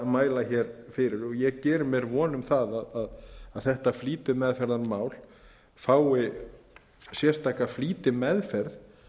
mæla fyrir og ég geri mér von um að þetta flýtimeðferðarmál fái sérstaka flýtimeðferð